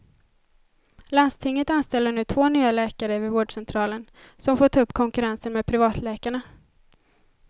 Landstinget anställer nu två nya läkare vid vårdcentralen, som får ta upp konkurrensen med privatläkarna.